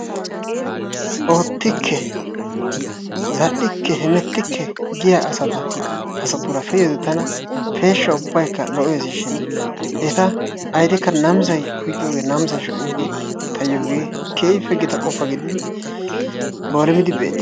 Oottikke, zal'ikke, hemettikke giya asata asatuura pe'iyoode tana peeshsha ubbaykka lo'ees shin eta awudekka namisay oyqqiyoogee namisay shocciyoogee tayoo hegee keehiippe gita qofa gidid boolumidi beettees.